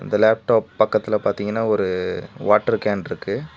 Laptop பக்கத்ல பாத்தீங்கன்னா ஒரு வாட்டர் கேன்ருக்கு .